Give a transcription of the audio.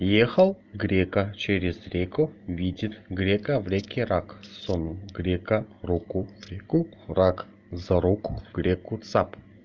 ехал грека через реку видит грека в реке рак сунул грека руку в реку рак за руку греку цап